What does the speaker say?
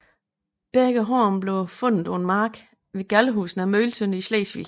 Begge horn blev fundet på en mark ved Gallehus nær Møgeltønder i Slesvig